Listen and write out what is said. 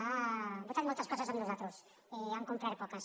han votat moltes coses amb nosaltres i n’han complert poques